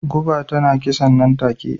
Guba tana kisa nan take..